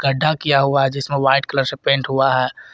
गड्ढा किया हुआ जिसमें व्हाइट कलर से पेंट हुआ है।